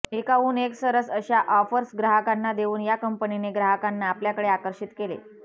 एकाहून एक सरस अशा ऑफर्स ग्राहकांना देऊन या कंपनीने ग्राहकांना आपल्याकडे आकर्षित केले